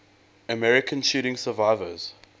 american shooting survivors